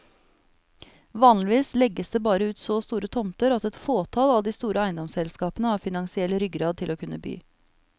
Vanligvis legges det bare ut så store tomter at et fåtall av de store eiendomsselskapene har finansiell ryggrad til å kunne by.